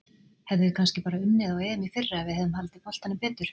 Hefðum við kannski bara unnið EM í fyrra ef við hefðum haldið boltanum betur?